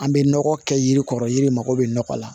An bɛ nɔgɔ kɛ yiri kɔrɔ yiri mago be nɔgɔ la